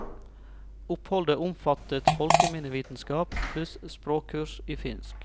Oppholdet omfattet folkeminnevitenskap pluss språkkurs i finsk.